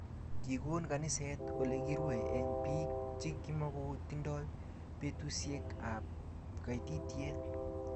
Kikon kaniset olekirui eng biik chi kimokotindoi betusiek ab kaititiet